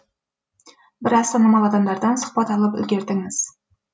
біраз танымал адамдардан сұхбат алып үлгердіңіз